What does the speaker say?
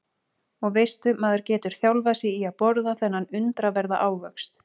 Og veistu maður getur þjálfað sig í að borða þennan undraverða ávöxt.